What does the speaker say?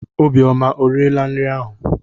Obiọma eriela nri ahụ?